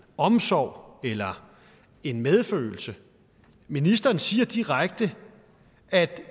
omsorg eller en medfølelse ministeren siger direkte at